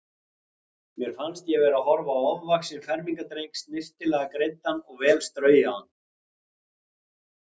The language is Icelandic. Mér fannst ég vera að horfa á ofvaxinn fermingardreng, snyrtilega greiddan og vel straujaðan.